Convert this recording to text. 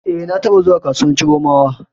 E, na taɓa zuwa kasuwar Chiromawa.